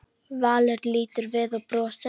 Valur lítur við og brosir.